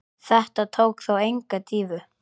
Þetta tók þó enga dýfu.